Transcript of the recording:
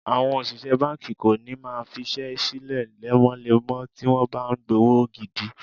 Àwọn òṣìṣẹ́ báńkì kò ní máa fiṣẹ́ sílẹ̀ lemọ́lemọ́ tí wọ́n bá ń gbówó gidi.